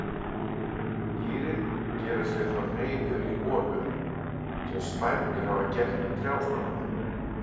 Dýrin gera sér þá hreiður í holum sem spætur hafa gert í trjástofna.